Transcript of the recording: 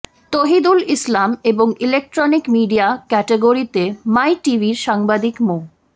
তহিদুল ইসলাম এবং electronic media ক্যাটাগরিতে My টিভির সাংবাদিক মো